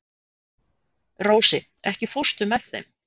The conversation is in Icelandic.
Rósi, ekki fórstu með þeim?